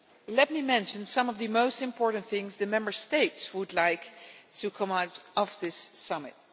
Let me mention some of the most important things the Member States would like to come out of this summit.